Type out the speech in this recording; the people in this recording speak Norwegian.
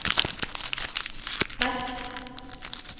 sterk